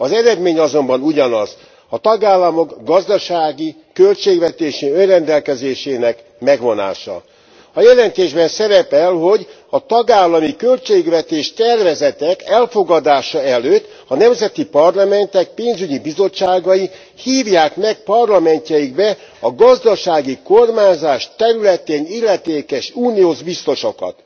Az eredmény azonban ugyanaz a tagállamok gazdasági, költségvetési önrendelkezésének megvonása. A jelentésben szerepel, hogy a tagállami költségvetés tervezetek elfogadása előtt a nemzeti parlamentek pénzügyi bizottságai hívják meg parlamentjeikbe a gazdasági kormányzás területén illetékes uniós biztosokat.